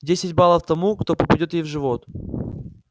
десять баллов тому кто попадёт ей в живот